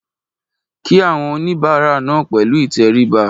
Kí àwọn oníbàárà náà pẹ̀lú ìtẹríba